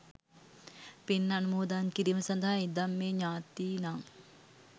පින් අනුමෝදන් කිරීම සඳහා ඉදං මෙ ඤාතීනං.